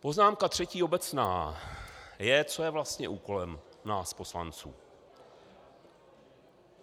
Poznámka třetí obecná je, co je vlastně úkolem nás poslanců.